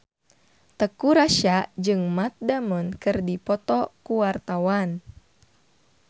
Teuku Rassya jeung Matt Damon keur dipoto ku wartawan